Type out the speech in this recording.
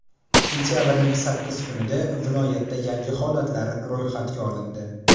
Sentabrning sakkiz kunida viloyatda yangi holatlar ro‘yxatga olindi.